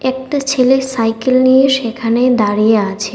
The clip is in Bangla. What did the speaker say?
একটা ছেলে সাইকেল নিয়ে সেখানে দাঁড়িয়ে আছে।